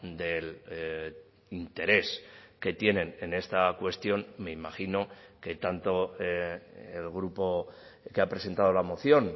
del interés que tienen en esta cuestión me imagino que tanto el grupo que ha presentado la moción